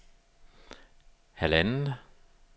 halvandet